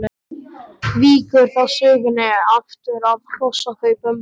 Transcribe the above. Víkur þá sögunni aftur að hrossakaupum.